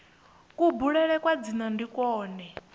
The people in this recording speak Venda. kubulele kwa dzina ndi kwone